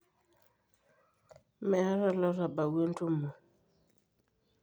meeta olotabawua entumu